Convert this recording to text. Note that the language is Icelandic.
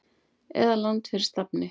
eða Land fyrir stafni.